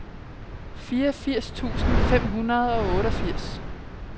fireogfirs tusind fem hundrede og otteogfirs